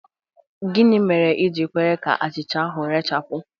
Gịnị mere i ji kwere ka achịcha ahụ rechapụ?